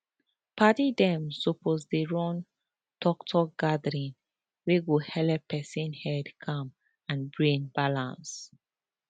padi dem suppose dey run talktalk gathering wey go helep person head calm and brain balance